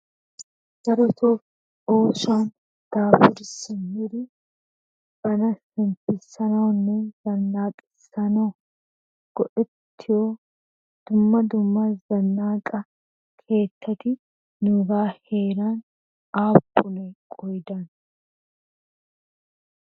Darotoo oosuwan daafuri simmidi bana shemppissanawunne zannaqissanawu go'ettiyo dumma dumma zannaqa keettati nuugan heeran aappunee qoodan?